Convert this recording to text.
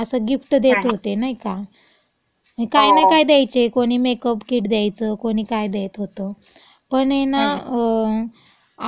असं गिफ्ट् देत होते, नाई का? आणि काय ना कायी दयायचे, कोणी मेकअप किट द्यायचं, कोणी काय देत होतं. पण ऐ ना,